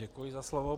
Děkuji za slovo.